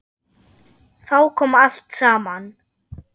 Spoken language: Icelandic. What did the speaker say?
Þá kom allt saman.